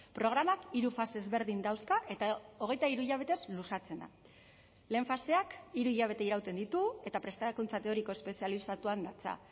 programak hiru fase ezberdin dauzka eta hogeita hiru hilabetez luzatzen da lehen faseak hiru hilabete irauten ditu eta prestakuntza teoriko espezializatuan datza